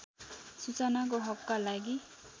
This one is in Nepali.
सूचनाको हकका लागि